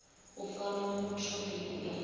u fara muthu ndi ifhio